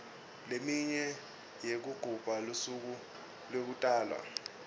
leminye yekugubha lusuku lekutalwa